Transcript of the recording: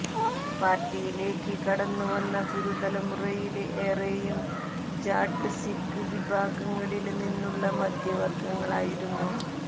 പാര്ട്ടിയിലേക്ക് കടന്നുവന്ന പുതുതലമുറയില് ഏറെയും ജാട്ട് സിഖ് വിഭാഗങ്ങളില് നിന്നുള്ള മധ്യവര്ഗ്ഗങ്ങളായിരുന്നു